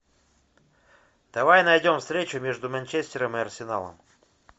давай найдем встречу между манчестером и арсеналом